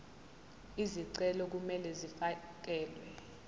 izicelo kumele zifakelwe